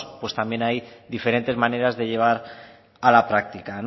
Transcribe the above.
también hay diferentes maneras de llevar a la práctica